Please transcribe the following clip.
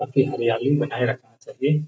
हरियाली बनाए रखना चाहिए।